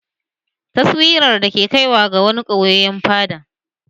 Taswirar da ke kaiwa ga wani ɓoyayyen fada